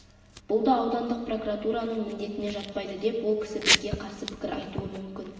бұл да аудандық прокуратураның міндетіне жатпайды деп ол кісі бізге қарсы пікір айтуы мүмкін